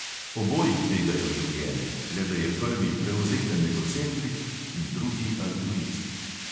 Oboji tvegajo življenje, le da je prvi prevzeten egocentrik in drugi altruist.